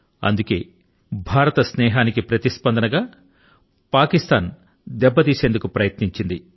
అందుకే భారత స్నేహాని కి ప్రతిస్పందన గా పాకిస్తాన్ దెబ్బ తీసేందుకు ప్రయత్నించింది